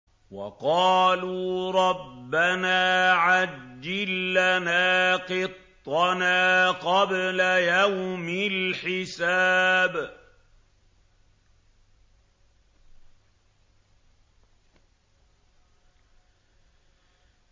وَقَالُوا رَبَّنَا عَجِّل لَّنَا قِطَّنَا قَبْلَ يَوْمِ الْحِسَابِ